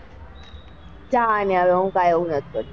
જા ને હવે હું કાઈ એવું નથી કરતી.